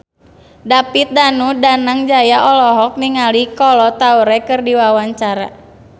David Danu Danangjaya olohok ningali Kolo Taure keur diwawancara